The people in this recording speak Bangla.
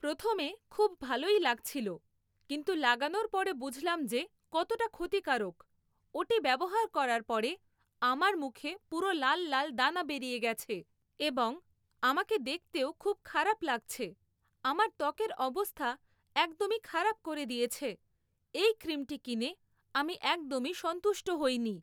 প্রথমে খুব ভালোই লাগছিলো কিন্তু লাগানোর পরে বুঝলাম যে কতটা ক্ষতিকারক, ওটি ব্যবহার করার পরে আমার মুখে পুরো লাল লাল দানা বেরিয়ে গেছে এবং আমাকে দেখতেও খুব খারাপ লাগছে আমার ত্বকের অবস্থা একদমই খারাপ করে দিয়েছে এই ক্রিমটি কিনে আমি একদমই সন্তুষ্ট হইনি